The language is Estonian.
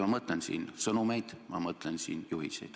Ma mõtlen siin sõnumeid, ma mõtlen siin juhiseid.